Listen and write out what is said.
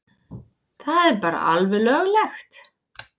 Það er bara alveg löglegt.